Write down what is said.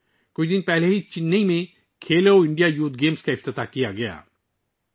ابھی کچھ دن پہلے ہی چنئی میں کھیلو انڈیا یوتھ گیمز کا افتتاح کیا گیا تھا